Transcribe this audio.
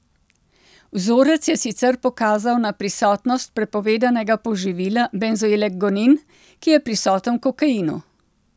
Vzorec je sicer pokazal na prisotnost prepovedanega poživila benzoilekgonin, ki je prisoten v kokainu.